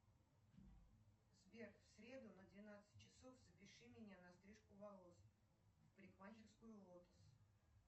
сбер в среду на двенадцать часов запиши меня на стрижку волос в парикмахерскую лотос